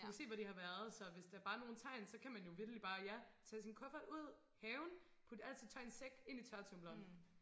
Du kan se hvor de har været så hvis der bare er nogen tegn så kan man jo vitterligt bare ja tage sin kuffert ud haven putte alt sit tøj i en sæk ind i tørretumbleren